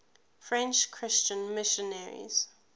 french christian missionaries